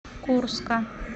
курска